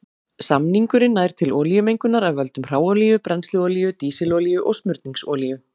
Samningurinn nær til olíumengunar af völdum hráolíu, brennsluolíu, dísilolíu og smurningsolíu.